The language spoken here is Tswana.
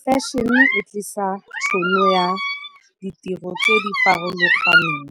Fashion e tlisa tšhono ya ditiro tse di farologaneng